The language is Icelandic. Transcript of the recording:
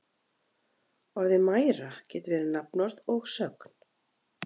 Orðið mæra getur verið nafnorð og sögn.